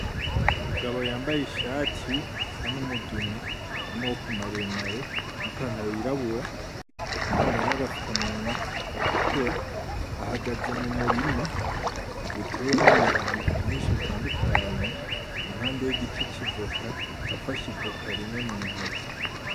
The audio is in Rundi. Umugabo yambaye ishati isa numugani, yamaboko maremare nipantalo yirabura, yambaye nagafuka munwa gatukura. Ahagaze mumurima utewemwo ibintu vyinshi bitandukanye, impande yigiti civoka afashe ivoka rimwe muntoki.